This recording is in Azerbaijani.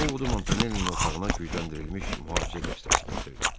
Ovodun Montanellinin otağına gücləndirilmiş mühafizə dəstəsi gətirdi.